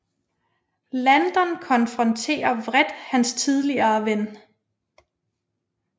Landon konfronterer vredt hans tidligere ven